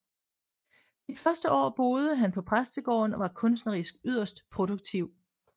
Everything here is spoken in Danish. De første år boede han på præstegården og var kunstnerisk yderst produktiv